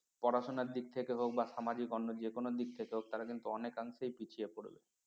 পড়াশোনার দিক থেকে হোক বা সামাজিক অন্য যে কোনো দিক থেকে হোক তারা কিন্তু অনেকাংশে পিছিয়ে পড়বে